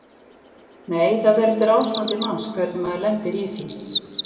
Nei: það fer eftir ástandi manns hvernig maður lendir í því.